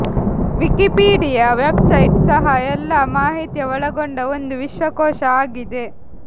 Wikipedia website ಸಹ ಎಲ್ಲ ಮಾಹಿತಿಯ ಒಳಗೊಂಡ ಒಂದು ವಿಶ್ವಕೋಶ ಆಗಿದೆ